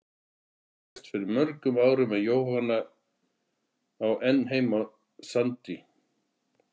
Hjörtur lést fyrir mörgum árum en Jóhanna á enn heima á Sandi.